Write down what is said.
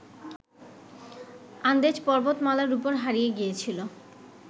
আন্দেজ পর্বতমালার ওপর হারিয়ে গিয়েছিল